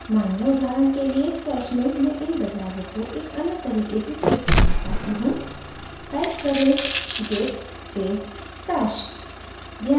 मानिए उदाहरण के लिए stash में मैं इन बदलावों को एक अन्य तरीके से say करना चाहती हूँ type करें git space stash